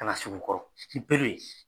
Kana sig'u kɔrɔ ni bere ye